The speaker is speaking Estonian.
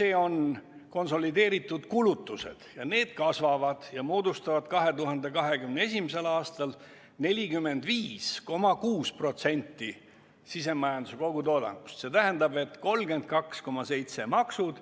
Need on konsolideeritud kulutused ja need kasvavad ja moodustavad 2021. aastal 45,6% sisemajanduse kogutoodangust, st 32,7% on maksud,